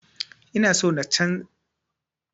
Ina so na fara canza wurin noma a gona na badi